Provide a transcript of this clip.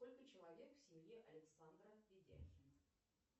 сколько человек в семье александра ведяхина